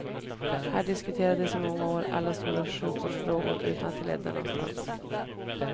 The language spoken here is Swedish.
Här diskuterades i många år alla stora sjukvårdsfrågor utan att det ledde någonstans.